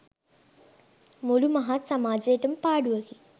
මුළු මහත් සමාජයට ම පාඩුවකි.